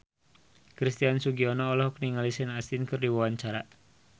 Christian Sugiono olohok ningali Sean Astin keur diwawancara